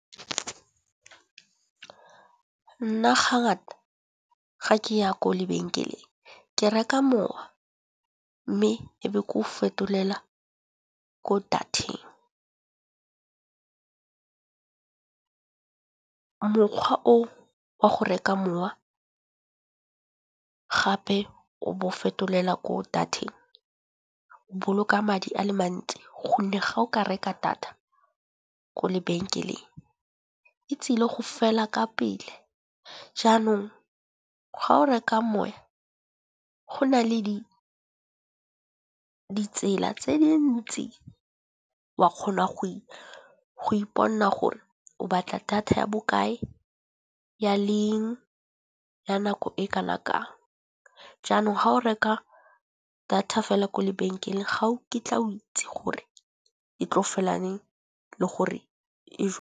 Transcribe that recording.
Nna ga ngata ga ke ya ko lebenkeleng ke reka mowa mme e be ke go fetolela ko data-eng. Mokgwa o wa go reka mowa gape o bo fetolela ko data-eng o boloka madi a le mantsi, gonne ga o ka reka data ko lebenkeleng e tsile go fela ka pele. Jaanong ga o reka moya go nale di ditsela tse dintsi wa kgona go ipona gore o batla data ya bokae, ya leng ya nako e kana kang. Jaanong ha o reka data fela kwa lebenkeleng ga o kitla o itse gore e tlo fela neng le gore.